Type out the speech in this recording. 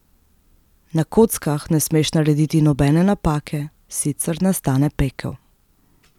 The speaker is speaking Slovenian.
Na kockah ne smeš narediti nobene napake, sicer nastane pekel.